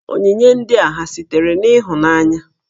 Onyinye ndị a ha sitere n'ịhụnanya?